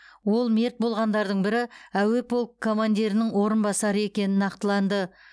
ол мерт болғандардың бірі әуе полкі командирінің орынбасары екенін нақтылады